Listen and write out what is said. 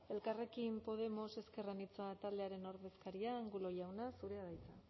elkarrekin podemos ezker anitza taldearen ordezkaria angulo jauna zurea da hitza